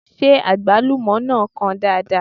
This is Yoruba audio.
Ṣé Àgbálúmọ náà kan dáadáa?